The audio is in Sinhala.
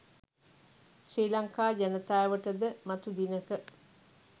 ශ්‍රි ලංකා ජනතාවට ද මතු දිනක